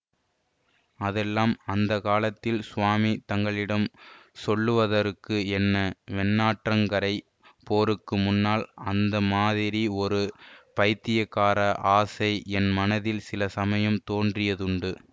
அதெல்லாம் அந்த காலத்தில் சுவாமி தங்களிடம் சொல்லுவதற்கு என்ன வெண்ணாற்றங்கரைப் போருக்கு முன்னால் அந்த மாதிரி ஒரு பைத்தியக்கார ஆசை என் மனத்தில் சில சமயம் தோன்றியதுண்டு